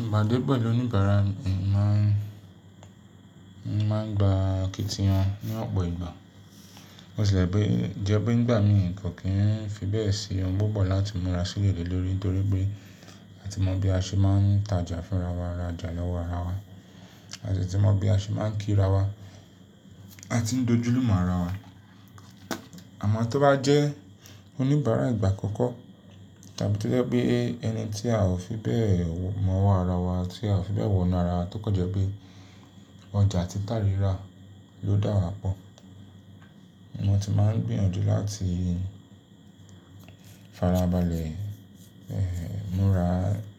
Ìpàdé pẹ̀lú oníbàárà mi máa ń, máa ń gba akitiyan ní ọ̀pọ̀ ìgbà. Bó tì lẹ̀ jẹ́ pé jẹ́ pé nígbà mìí, kò kí ń fi bẹ́ẹ̀ sí ohun púpọ̀ láti múra sílẹ̀ lé lórí, nítorí pé a ti mọ bí a ṣe n má ń tajà fúnra wa, rajà lọ́wọ́ ara wa. A dé ti mọ bí a ṣe má ń kí ra wa. A ti ń d'ojúlùmọ̀ ara wa. Àmọ́ tó bá jẹ́ oníbàárà ìgbà àkọ́kọ́ tàbí tó jẹ́ pé ẹni tí a ò fi bẹ́ẹ̀ mọ̀ ọwọ́ ara wa, tí a ò fi bẹ́ẹ̀ wọ́nu ara wa, tó kan jẹ́ pé ọjà títa rírà ló dá wa pọ̀. Mo ti máa ń gbìyànjú láti farabalẹ̀, múra.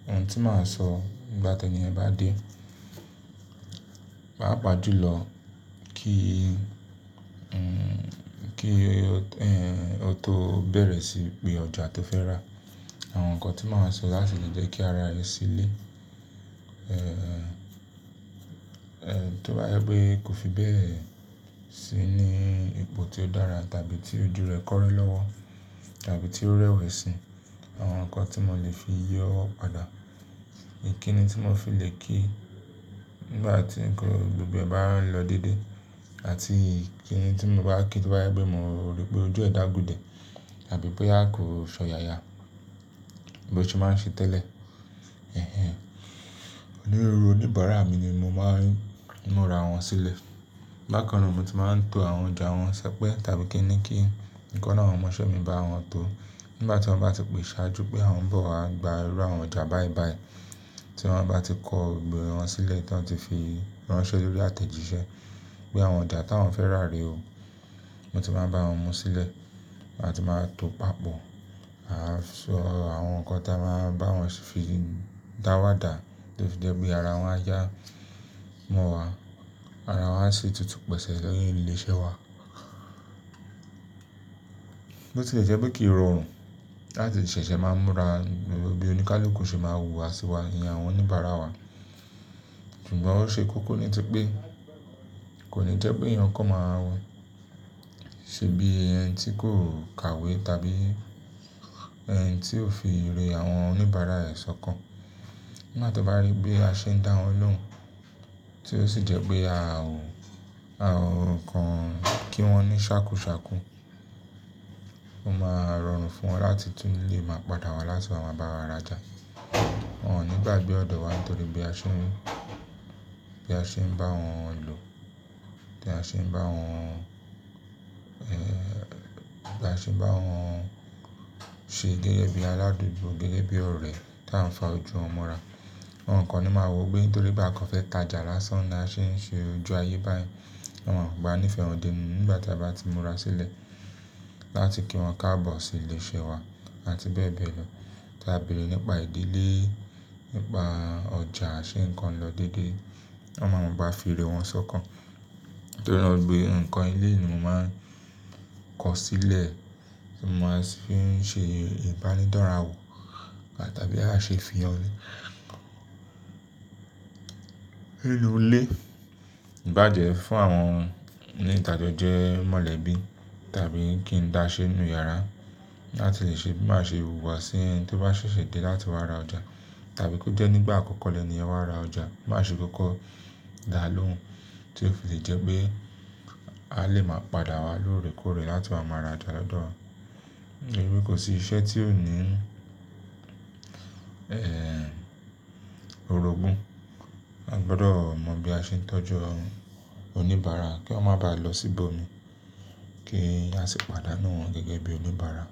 Ohun tí màá sọ nígbà t'ẹ́niyẹn bá dé, pàápà jùlọ lọ kí, kí, ó tó bẹ̀rẹ̀ síí pe ọjà tó fẹ́ rà. Àwọn ǹkan tí màá sọ láti lè jẹ́ kí ara rẹ sílẹ̀. Tó bá jẹ́ pé kò fi bẹ́ẹ̀ sí ní ipò tí ó dára tàbí tí ojú rẹ̀ kọ́re lọ́wọ́ tàbí tí ó rẹ́wẹ̀sín, àwọn ǹkan tí mo lè fi yọ́ ọ́ padà. Ìkínni tí mo fi lè kí nígbà tí ǹkan gbogbo ẹ bá ń lọ déedé àti ìkínni tí mo bá kí tó bá jẹ́ pé mo rí pé ojú ẹ̀ dabu dẹ̀ àbí bóyá kò s'ọ̀yàyà bí o ṣe má ń ṣe tẹ́lẹ̀. Nírú oníbàárà mi ni mo máa ń múra wọn sílẹ̀. Bákan náà mo ti máa ń to àwọn ọjà wọn ní ṣẹ́pẹ́ tàbí kín ni kí ìkan nínú àwọn ọmọ'ṣẹ́ mi bá wọn tó. Nígbà tí wọ́n bá ti pè sàájú pé àwọn ń bọ̀ wá gba irú àwọn ọjà báyìí bàyìí tí wọ́n bá ti kọ gbogbo wọn sílẹ̀ tí wọ́n ti fi ránṣẹ́ lórí àtẹ̀jíṣẹ́ pé àwọn ọjà t'àwọn fẹ́ rà rè o. Mo ti má ń bá wọn mu sílẹ̀, àti máa tò papọ̀. A sọ àwọn ǹkan tí a máa bá wọn fi dáwadà tó fi jẹ́ pé ara wọn á yá mọ́ wa. Ara wọn á sì tutù pẹ̀sẹ̀ lẹ́yìn ilé iṣẹ́ wa. Bó tì lẹ̀ jẹ́ pé kìí rọrùn láti ṣẹ̀ṣẹ̀ máa múra gbogbo bí oníkálukú ṣe máa wùwá sí wa, ìyẹn àwọn oníbàárà wa. Ṣùgbọ́n ó ṣe kókó ní tí pé kò ní jẹ́ pé èèyàn kan máa ṣe bíi ẹni tí kò kà ìwé tàbí ẹni tí ò fi ire àwọn oníbàárà rẹ̀ s'ọ́kàn. Nígbà tí wọ́n bá rí pé a ṣe ń dá wọn lóhùn, tí ó sì jẹ́ pé a ò, a ò kàn án kí wọ́n ní ṣàkúṣàkú. Ó máa rọrùn fún wọn láti tún lè máa padà wá láti wá bá wa ra'já. Wọn ò ní gbàgbé ọ̀dọ̀ wa nítorí bí a ṣe ń, bí a ṣe ń bá wọn lò, bí a ṣe ń bá wọn, bí a ṣe ń bá wọn ṣe gẹ́gẹ́ bí aládúgbò, gẹ́gẹ́ bí ọ̀rẹ́ tí à ń fa ojú wọn mọ́ra. Wọn kan ní máa wò ó pé nítorí pé à kan fẹ́ ta'jà lásán ni a ṣe ń ṣe ojú ayé báyìí. Wọn maa mọ̀ pé a nífẹ́ wọn dé'nú ni nígbà tí a bá ti múra sílẹ̀ láti kí wọn káàbọ̀ sí ilé iṣẹ́ wa àti bẹ́ẹ̀ bẹ́ẹ̀ lọ. Tí a bèèrè nípa ìdílé, nípa ọjà, ṣe ǹkan lọ déédé. Wọn máa wù bá fi ire wọn sọ́kàn. Nítorí náà gbogbo ǹkan ilé ni mo máa ń kọ sílẹ̀ tí mo máa fi ń ṣe ìbánidọ́ra wò tàbí à ṣe fìyàn ní inú ilé. Ìbájẹ̀ fún àwọn oní ìtàjọ jẹ́ mọ̀lẹ́bí tàbí kí n dá ṣé inú yàrá láti lè ṣe bí màá ṣe wù wá sí ẹni tí ó bá ṣẹ̀ṣẹ̀ dé láti wá ra ọjà. Tàbí kí ó jẹ́ nígbà àkọ́kọ́ lẹ́niyẹ̀n wá ra ọjà, má ṣe kókó dá a lóhùn tí ó fi lè jẹ́ pé a lè máa padà wá lóòrèkóòrè láti bá wọn máa rajà lọ́dọ̀. Eré kò sí iṣẹ́ tí ò ní, eh, orogún. A gbọdọ̀ mọ̀ bí a ṣe ń tọ́jú oníbàárà kí wọ́n má bàá lọ síbọ̀ mi kí a sì pàdánù wọ́n gẹ́gẹ́ bí oníbàárà.